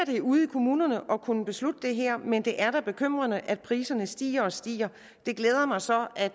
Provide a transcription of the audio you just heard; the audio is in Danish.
ude i kommunerne at kunne beslutte det her men det er da bekymrende at priserne stiger og stiger det glæder mig så at